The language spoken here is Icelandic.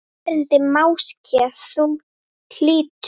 Erindi máske þú hlýtur.